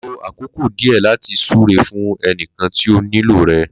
Lo àkókò díẹ̀ láti súre fún ẹnìkan tí ó nílò rẹ̀